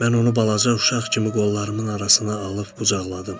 Mən onu balaca uşaq kimi qollarımın arasına alıb qucaqladım.